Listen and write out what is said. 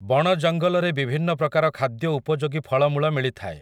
ବଣ ଜଙ୍ଗଲରେ ବିଭିନ୍ନ ପ୍ରକାର ଖାଦ୍ୟ ଉପଯୋଗୀ ଫଳମୂଳ ମିଳିଥାଏ ।